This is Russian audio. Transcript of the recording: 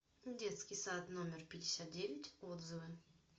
детский сад номер пятьдесят девять отзывы